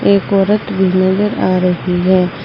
एक औरत भी नजर आ रही है।